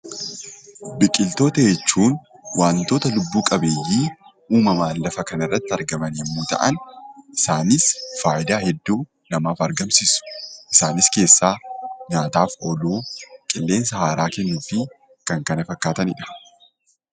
Biqiltoota jechuun waantoota lubbuu qabeeyyii uumamaan lafa kanarratti argaman yommuu ta'an isaanis faayidaa hedduu namaaf argamsiisu. Isaanis keessaa :nyaataaf ooluu, qilleensa haaraa kennuu fi kan kana fakkaatanidha.